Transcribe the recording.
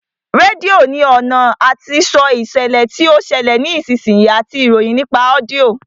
Rédíò ní ọ̀nà àti sọ ìṣẹ̀lẹ̀ tí ó ń ṣẹlẹ̀ ní ìsinsìnyí àti ìròyìn nípa ọ́díọ̀